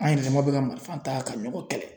An yɛrɛ dama bɛ ka marifa ta ka nɔgɔn kɛlɛ